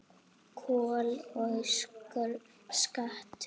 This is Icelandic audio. Kol og skattur